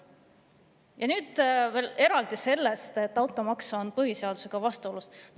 Ja nüüd veel eraldi sellest, et automaks on põhiseadusega vastuolus.